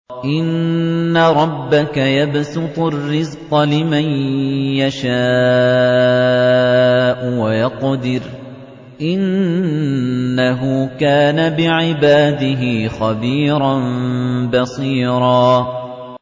إِنَّ رَبَّكَ يَبْسُطُ الرِّزْقَ لِمَن يَشَاءُ وَيَقْدِرُ ۚ إِنَّهُ كَانَ بِعِبَادِهِ خَبِيرًا بَصِيرًا